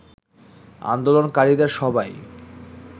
আন্দোলনকারীদের সবাই